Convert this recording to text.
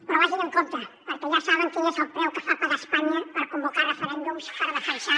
però vagin amb compte perquè ja saben quin és el preu que fa pagar espanya per convocar referèndums per defensar